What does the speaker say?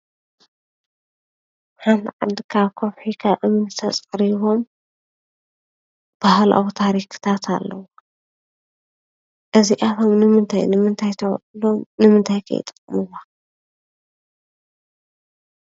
ሓንቲ ዓዲ ካብ ከውሒ ፣ካብ እምኒ ተፀሪቦም ባህላዊ ታሪካታት ኣለው። እዚኣቶም ንምንታይ ንምንታይ ተውዕሎም ንምንታይ ከ ይጠቅሙዋ ?